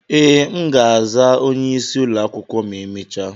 Ee, m ga-aza onye isi ụlọ akwụkwọ ma emechaa.